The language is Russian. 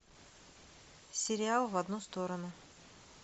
сериал в одну сторону